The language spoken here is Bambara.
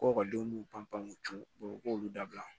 Ko ekɔlidenw b'u pan pan u t'u co u k'olu dabila